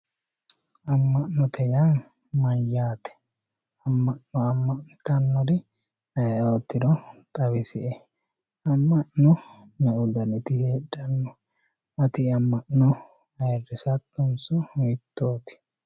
Ama`note yaa mayaate ama`no ama`nitanori ayiootiro xawisie ama`no me`u daniti hedhano ati ama`no ayirisatonso hiitoti.